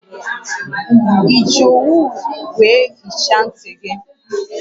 Eji owu wee hichaa nti gi?